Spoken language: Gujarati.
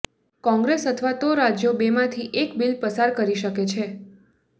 કોંગ્રેસ અથવા તો રાજ્યો બેમાંથી એક બિલ પસાર કરી શકે છે